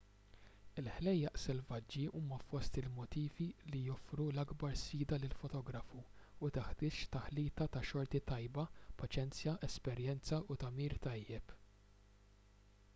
il-ħlejjaq selvaġġi huma fost il-motifi li joffru l-akbar sfida lill-fotografu u teħtieġ taħlita ta' xorti tajba paċenzja esperjenza u tagħmir tajjeb